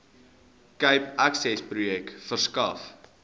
cape accessprojek verskaf